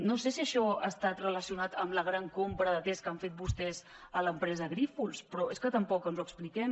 no sé si això ha estat relacionat amb la gran compra de tests que han fet vostès a l’empresa grífols però és que tampoc ens ho expliquem